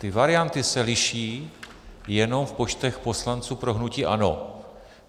Ty varianty se liší jenom v počtech poslanců pro hnutí ANO.